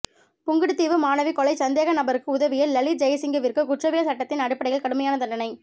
புங்குடுதீவு மாணவி கொலைச் சந்தேக நபருக்கு உதவிய லலித் ஜயசிங்கவிற்கு குற்றவியல் சட்டத்தின் அடிப்படையில் கடுமையான தண்டனை